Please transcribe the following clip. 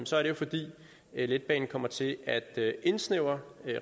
så er det fordi letbanen kommer til at indsnævre